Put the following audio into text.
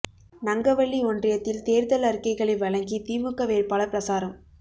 நங்கவள்ளி ஒன்றியத்தில் தேர்தல் அறிக்கைகளை வழங்கி திமுக வேட்பாளர் பிரசாரம்